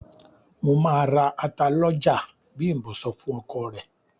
"Mo máa ra ata lọ́jà", Bím̀bọ́ sọ fún ọkọ rẹ̀.